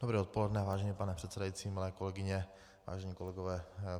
Dobré odpoledne, vážený pane předsedající, milé kolegyně, vážení kolegové.